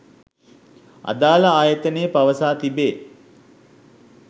අදාළ ආයතනය පවසා තිබේ.